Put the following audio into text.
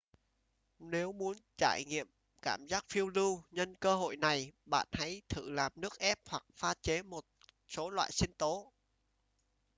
nếu muốn trải nghiệm cảm giác phiêu lưu nhân cơ hội này bạn hãy thử làm nước ép hoặc pha chế một số loại sinh tố